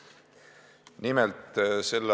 Nimelt, s.